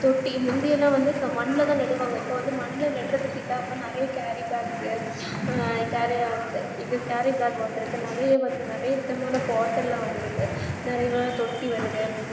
தொட்டி முந்தியெல்லாம் வந்து மண்ல தா வந்து நடுவாங்க இப்போவந்து மண்ல நட்ரதுக்கு இல்லாம நறைய carrybags ஆ carry bag இது carry bag வந்துருக்கு நறைய விதமான bottle வந்துருக்கு நறைய தொட்டி வருது